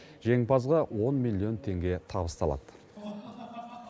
жеңімпазға он миллион теңге табысталады